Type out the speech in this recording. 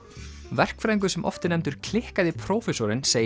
verkfræðingur sem oft er nefndur klikkaði prófessorinn segir